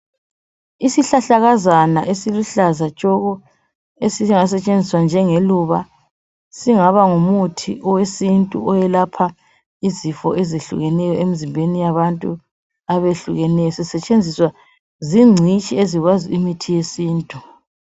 Isihlahlakazana esiluhlaza tshoko esingasetshenziswa njengeluba esingaba ngumuthi wesintu oyelapha izifo ezehlukeneyo emzimbeni yabantu abehlukeneyo zisetshenziswa zingcitshi ezikwazi ngemithi yesintu